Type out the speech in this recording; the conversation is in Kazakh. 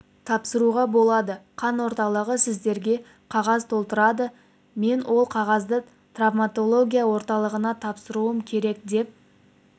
тапсыруға болады қан орталығы сіздерге қағаз толтыртады мен сол қағазды травматология орталығына тапсыруым керек деп